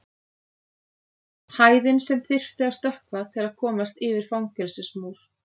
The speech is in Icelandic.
Hæðin sem þyrfti að stökkva til að komast yfir fangelsismúr.